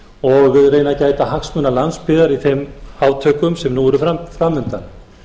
og reyna að gæta hagsmuna landsbyggðar í þeim átökum sem nú eru framundan